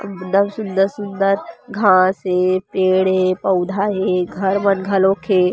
एकदम सुन्दर-सुन्दर घाँस हे पेड़ हे पौधा हे घर मन घलोक हे।